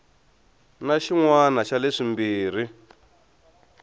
na xin wana xa leswimbirhi